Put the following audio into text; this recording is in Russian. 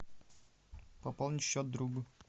пополнить счет другу